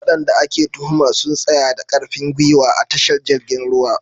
Wadanda ake tuhumar sun tsaya da karfin gwiwa a tashar jirgin ruwa.